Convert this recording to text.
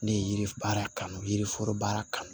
Ne ye yiri baara kanu yiri foro baara kanu